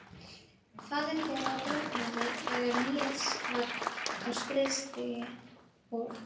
Faðir þeirra drukknaði þegar Níels var á skriðstigi og